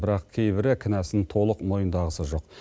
бірақ кейбірі кінәсын толық мойындағысы жоқ